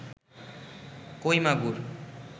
কই মাগুর